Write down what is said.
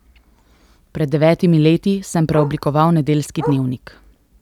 Pred devetimi leti sem preoblikoval Nedeljski dnevnik.